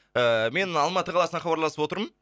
ыыы мен алматы қаласынан хабарласып отырмын